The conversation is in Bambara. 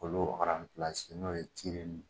Olu fana bilanse n'o ye tireli ye